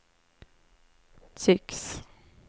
tycks